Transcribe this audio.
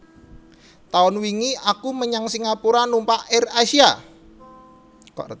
Taun wingi aku menyang Singapura numpak Air Asia